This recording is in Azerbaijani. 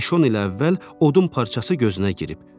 Beş-on il əvvəl odun parçası gözünə girib.